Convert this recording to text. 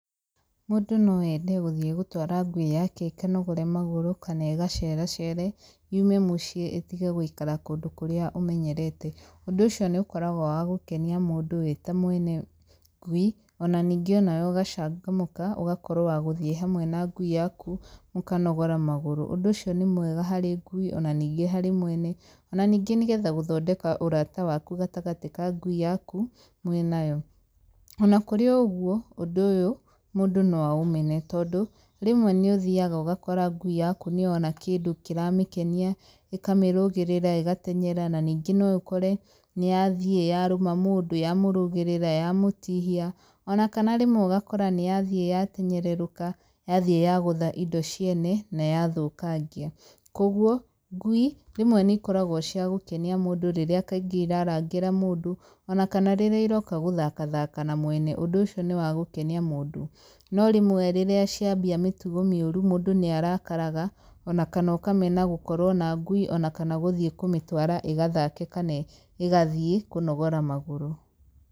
Mũndũ no ende gũthiĩ gũtwara ngui yake ikanogore magũrũ kana igaceracere yume mũciĩ itige gũikara kũndũ kũrĩa ĩmenyerete. Ũndũ ũcio nĩũkoragwo wagũkenia mũndũ mwene ngui o na ningĩ o na we ũgacangamũka ũgakorwo wagũthiĩ hamwe na ngui yaku mũkanogora magũrũ, ũndũ ũcio nĩ mwega harĩ ngui o na ningĩ harĩ mwene, o na ningĩ nĩgetha gũthondeka ũrata waku gatagatĩ ka ngui yaku mwĩ na yo. O na kũrĩ o ũguo ũndũ ũyũ mũndũ no aũmene tondũ rĩmwe nĩ ũthiyaga ũgakora ngui yaku nĩyona kĩndũ kĩramĩkenia ikamĩrũgĩrĩra ĩgatenyera na ningĩ no ũkore nĩ yathiĩ ya rũma mũndũ ya mũrũgĩrĩra ya mũtihia o na kana rĩmwe ũgakora nĩ yathiĩ yatenyererũka yathiĩ yagũtha indo ciene na yathũkangia, kogwo ngui rĩmwe nĩikoragwo cia gũkenia mũndũ rĩrĩa kaingĩ irarangĩra mũndũ o na kana rĩrĩa iroka gũthakathaka na mwene, ũndũ ũcio nĩ wa gũkenia mũndũ. No rĩmwe rĩrĩa cianjia mĩtugo mĩũru mũndũ nĩ arakaraga o na kana ũkamena gũkorwo na ngui kana gũthiĩ kũmĩtwara ĩgathake kana igathiĩ kũnogora magũrũ.